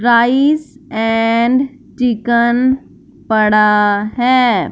Rice and chicken पड़ा है।